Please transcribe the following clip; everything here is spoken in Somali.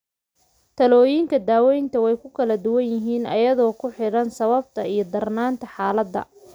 Talooyinka daawaynta way kala duwan yihiin iyadoo ku xidhan sababta iyo darnaanta xaaladda.